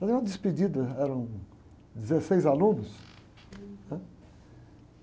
Fazer uma despedida, eram dezesseis alunos, né?